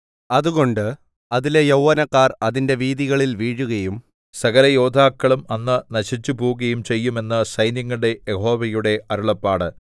അതുകൊണ്ട് അതിലെ യൗവനക്കാർ അതിന്റെ വീഥികളിൽ വീഴുകയും സകലയോദ്ധാക്കളും അന്ന് നശിച്ചുപോകുകയും ചെയ്യും എന്ന് സൈന്യങ്ങളുടെ യഹോവയുടെ അരുളപ്പാട്